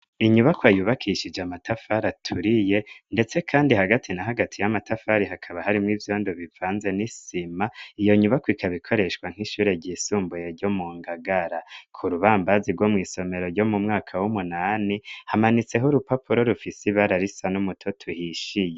inyubako ayubakishije amatafari aturiye ndetse kandi hagati na hagati y'amatafari hakaba hari mo ivyondo bivanze n'isima iyo nyubako ikabikoreshwa nk'ishure ry'isumbuye ryo mu ngagara ku rubambazi rwo mu isomero ryo mumwaka w'umunani hamanitseho urupapuro rufisi ibara risa n'umuto tuhishiye